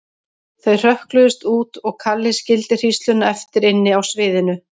Þau hrökkluðust út og Kalli skildi hrísluna eftir inni á sviðinu.